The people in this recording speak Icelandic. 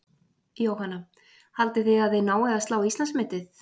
Jóhanna: Haldið þið að þið náið að slá Íslandsmetið?